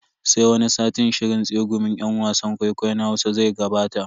Sai wani satin shirin tsegumin yan wasan kwaikwayon Hausa zai gabata.